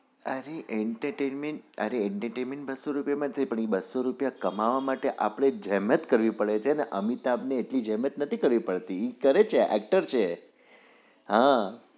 અરે entertainment અરે entertainment બસ્સો રુપિય માં થઇ જાય છે તમે બસો રૂપિયા કમાવા માટે અપડે જેમટ કરવી પડે છે અમિતાબ ને જેમટ કરી નથી પડતી એ કરે છે actor છે